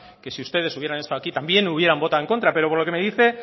que si ustedes hubieran estado aquí también hubieran votado en contra pero por lo que me dice